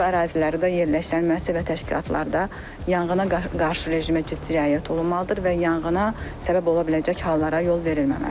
Bu ərazilərdə yerləşən müəssisə və təşkilatlarda yanğına qarşı rejimə ciddi riayət olunmalıdır və yanğına səbəb ola biləcək hallara yol verilməməlidir.